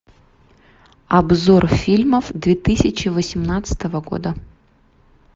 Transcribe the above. обзор фильмов две тысячи восемнадцатого года